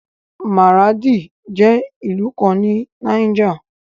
Maradi jẹ́ ìlú kan ní Niger.